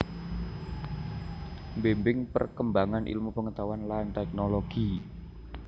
Mbimbing perkembangan ilmu pengetahuan lan teknologi